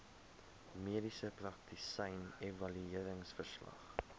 mediese praktisyn evalueringsverslag